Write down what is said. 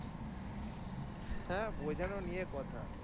হ্যাঁ বোঝানো নিয়ে কথা,